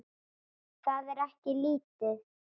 Það er ekki lítið.